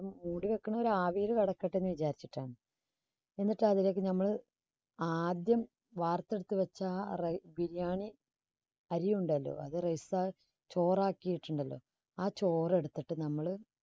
മൂടി വെക്കുന്നത് ആവിയിൽ കിടക്കട്ടെ എന്ന് വിചാരിച്ചിട്ടാണ്. എന്നിട്ട് അതിലേക്ക് നമ്മൾ ആദ്യം വാർത്തെടുത്തു വച്ച biriyani അരിയുണ്ടല്ലോ അത് rice ചോറ് ആക്കിയിട്ടുണ്ടല്ലോ ആ ചോറ് എടുത്തിട്ട് നമ്മള്